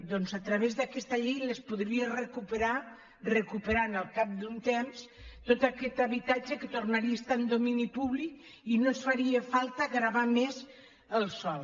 doncs a través d’aquesta llei els podria recuperar recuperant al cap d’un temps tot aquest habitatge que tornaria a estar en domini públic i que no ens faria falta gravar més el sòl